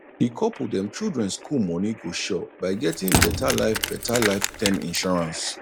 the couple dem children school money go sure by getting better life better life term insurance